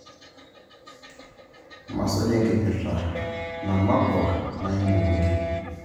Masuj enkipirta namakwa naimu bunge